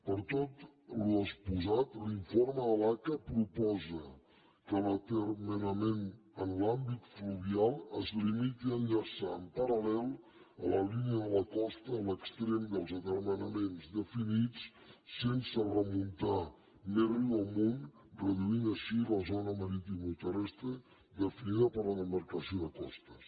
per tot l’exposat l’informe de l’aca proposa que l’atermenament en l’àmbit fluvial es limiti a enllaçar en parallel a la línia de la costa l’extrem dels atermenaments definits sense remuntar més riu amunt i reduir així la zona maritimoterrestre definida per la demarcació de costes